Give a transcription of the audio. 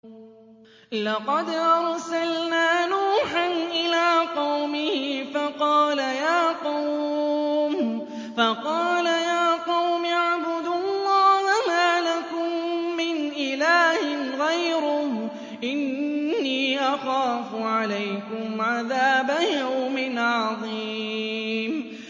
لَقَدْ أَرْسَلْنَا نُوحًا إِلَىٰ قَوْمِهِ فَقَالَ يَا قَوْمِ اعْبُدُوا اللَّهَ مَا لَكُم مِّنْ إِلَٰهٍ غَيْرُهُ إِنِّي أَخَافُ عَلَيْكُمْ عَذَابَ يَوْمٍ عَظِيمٍ